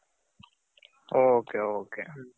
okay, okay